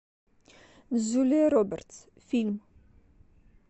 джулия робертс фильм